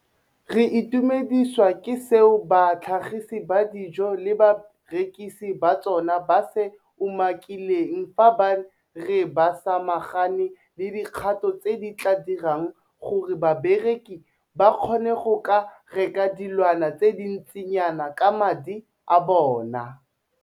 Re itumedisiwa ke seo batlhagisi ba dijo le barekisi ba tsona ba se umakileng fa ba re ba samagane le dikgato tse di tla dirang gore bareki ba kgone go ka reka dilwana tse dintsinyana ka madi a bona.